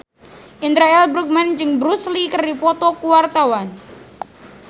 Indra L. Bruggman jeung Bruce Lee keur dipoto ku wartawan